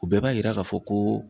O bɛɛ b'a yira k'a fɔ ko